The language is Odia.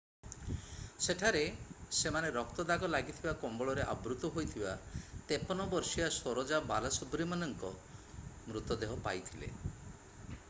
ସେଠାରେ ସେମାନେ ରକ୍ତ ଦାଗ ଲାଗିଥିବା କମ୍ବଳରେ ଆବୃତ ହୋଇଥିବା 53 ବର୍ଷୀୟା ସରୋଜା ବାଲାସୁବ୍ରମଣ୍ୟନଙ୍କ ମୃତଦେହ ପାଇଥିଲେi